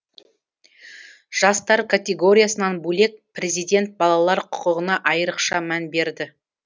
жастар категориясынан бөлек президент балалар құқығына айрықша мән берді